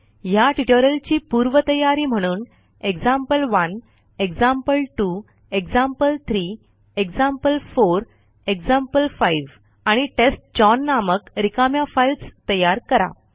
ह्या ट्युटोरियलची पूर्वतयारी म्हणून एक्झाम्पल1 एक्झाम्पल2 एक्झाम्पल3 एक्झाम्पल4 एक्झाम्पल5 आणि टेस्टचाउन नामक रिकाम्या फाईल्स तयार करा